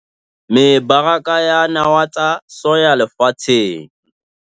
MEBARAKA YA NAWA TSA SOYA LEFATSHENG